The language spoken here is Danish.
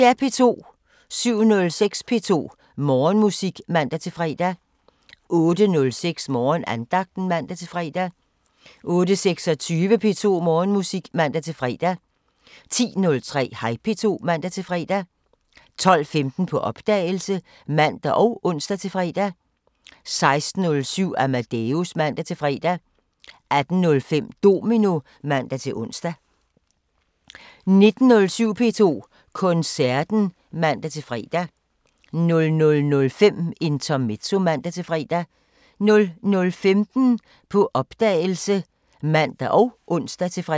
07:06: P2 Morgenmusik (man-fre) 08:06: Morgenandagten (man-fre) 08:26: P2 Morgenmusik (man-fre) 10:03: Hej P2 (man-fre) 12:15: På opdagelse (man og ons-fre) 16:07: Amadeus (man-fre) 18:05: Domino (man-ons) 19:20: P2 Koncerten (man-fre) 00:05: Intermezzo (man-fre) 00:15: På opdagelse (man og ons-fre)